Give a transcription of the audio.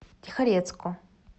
тихорецку